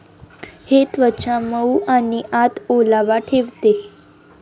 हे त्वचा मऊ आणि आत ओलावा ठेवते.